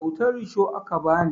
Kyautar risho aka ba ni